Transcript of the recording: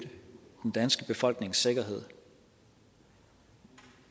den danske befolknings sikkerhed